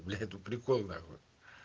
бля тут прикол нахуй